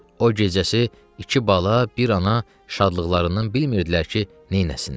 O gecəsi iki bala, bir ana şadlıqlarından bilmirdilər ki, neyləsinlər.